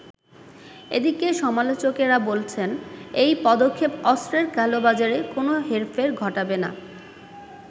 এদিকে সমালোচকেরা বলছেন এই পদক্ষেপ অস্ত্রের কালো বাজারে কোন হেরফের ঘটাবে না।